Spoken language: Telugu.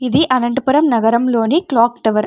ఇది అనంతపురం నగరంలోని క్లాక్ టవర్ --